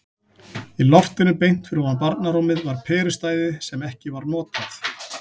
Í loftinu beint fyrir ofan barnarúmið var perustæði sem ekki var notað.